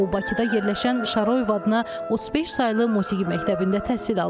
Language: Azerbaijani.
O Bakıda yerləşən Şaroyev adına 35 saylı musiqi məktəbində təhsil alıb.